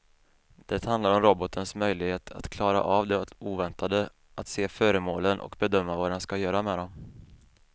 Det handlar om robotens möjlighet att klara av det oväntade, att se föremålen och bedöma vad den ska göra med dem.